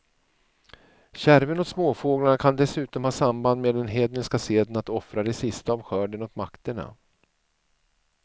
Kärven åt småfåglarna kan dessutom ha samband med den hedniska seden att offra det sista av skörden åt makterna.